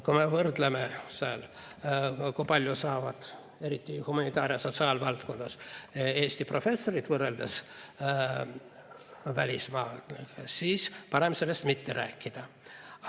Kui me võrdleme, kui palju saavad eriti humanitaar- ja sotsiaalvaldkonnas Eesti professorid võrreldes välismaa omadega, siis on parem sellest mitte rääkida.